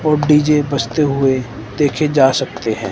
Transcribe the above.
और डी_जे बजते हुए देखे जा सकते हैं।